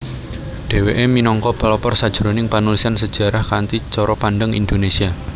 Dheweke minangka pelopor sajroning panulisan sejarah kanthi cara pandang Indonesia